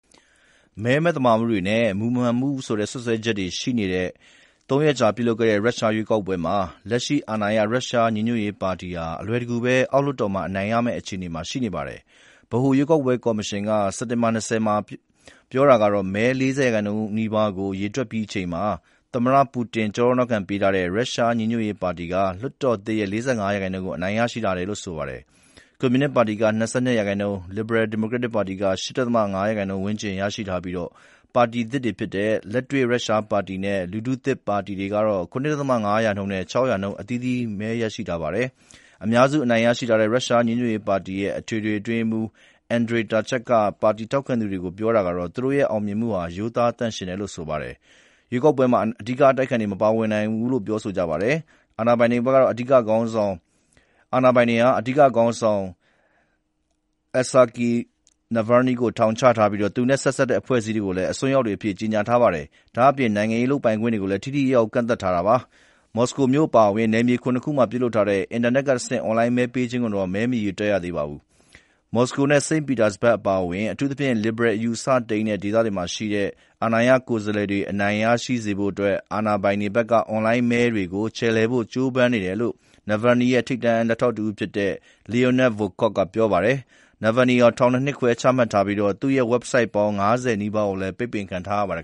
မဲမသမာမှုနဲ့ မူမမှန်တဲ့ စွပ်စွဲချက်တွေရှိတဲ့ သုံးရက်ကြာ ရုရှရွေးကောက်ပွဲပြုလုပ်ပြီးတဲ့နောက် လက်ရှိအာဏာရ ရုရှညီညွတ်ရေးပါတီဟာ အလွယ်တကူပဲ အောက်လွှတ်တော်မှာ အနိုင်ရမယ့်အခြေအနေရှိနေပါတယ်။ ဗဟိုရွေးကောက်ပွဲကော်မရှင်က စက်တင်ဘာ ၂၀ ရက်နေ့မှာ ပြောတာကတော့ မဲ ၄၀ % နီးပါးကို ရေတွက်ပြီးချိန်မှာ သမ္မတပူတင် ကျောထောက်နောက်ခံပေးထားတဲ့ ရုရှညီညွတ်ရေးပါတီက လွှတ်တော်သစ်ရဲ့ ၄၅ % ကို အနိင်ရရှိထားတယ်လို့ဆိုပါတယ်။ ကွန်မြူနစ်ပါတီက ၂၂% ၊ Liberal Democratic ပါတီက ၈.၅ % ဝန်းကျင်ရရှိထားပြီး ပါတီသစ်တွေဖြစ်တဲ့ လက်တွေ့ ရုရှပါတီနဲ့ လူထုသစ်ပါတီတွေကတော့ ၇.၅ % နဲ့ ၆ % အသီးသီး မဲရရှိခဲ့ကြပါတယ်။ အများစုအနိုင်ရထားတဲ့ ရုရှညီညွတ်ရေးပါတီရဲ့ အထွေထွေအတွင်းရေးမှူး Andrey Turchak က ပါတီထောက်ခံသူတွေကိုပြောတာကတော့ သူတို့ရဲ့ အောင်မြင်မှုဟာ ရိုးသားသန့်ရှင်းတယ်လို့ဆိုပါတယ်။ ရွေးကောက်ပွဲမှာ အဓိကအတိုက်အခံတွေ မပါဝင်နိုင်ခဲ့ပါဘူး။ အာဏာပိုင်တွေဟာ အတိုက်အခံခေါင်းဆောင် Aleksei Navalny ကို ထောင်ချထားပြီး သူနဲ့ဆက်စပ် တဲ့ အဖွဲ့အစည်းတွေကိုလည်း အစွန်းရောက်တွေအဖြစ်ကြေညာထားပါတယ်။ ဒါ့အပြင် နိုင်ငံရေးလုပ်ပိုင်ခွင့်တွေကိုလည်း ထိထိရောက်ရောက်ကန့်သတ်ထားတာပါ။ မော်စကိုမြို့အပါအဝင် နယ်မြေ ၇ ခုမှာ ခွင့်ပြုထားတဲ့ အင်တာနက်ကတဆင့် အွန်လိုင်းမဲပေးခြင်းကိုတော့မဲမရေတွက်ရသေးပါဘူး။ မော်စကိုနဲ့ စိန့်ပီတာစဘတ်အပါအဝင် အထူးသဖြင့်လစ်ဘရယ်အယူအဆ တိမ်းတဲ့ ဒေသတွေမှာရှိတဲ့ အာဏာရကိုယ်စားလှယ်တွေအနိုင်ရစေဖို့အတွက် အာဏာပိုင်တွေဖက်က အွန်လိုင်းမဲတွေကို ခြယ်လှယ်ဖို့ကြိုးပမ်းနေတယ်လို့ Navalny ရဲ့ ထိပ်တန်းလက်ထောက်တဦးဖြစ်တဲ့ Leonid Volkov ကပြောပါတယ်။ Nalvalny အား ထောင်ဒဏ် ၂ နှစ်ခွဲ ချမှတ်ထားပြီး သူ့ရဲ့ Website ပေါင်း ၅၀ နီးပါးကိုလည်း ပိတ်ပင်ခံထားရပါတယ်